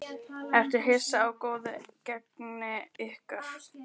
Ertu hissa á góðu gengi ykkar?